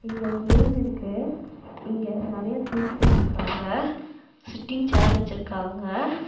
இங்க ஒரு ரூம் இருக்கு. இங்க நறைய திங்ஸ் வச்சுருக்காங்க. சிட்டிங் சார் வச்சிருக்காங்க.